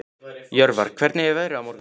Jörvar, hvernig er veðrið á morgun?